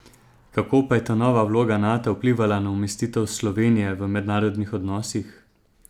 Kako pa je ta nova vloga Nata vplivala na umestitev Slovenije v mednarodnih odnosih?